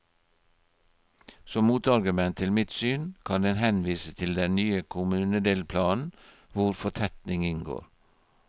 Som motargument til mitt syn, kan en henvise til den nye kommunedelplanen, hvor fortetning inngår.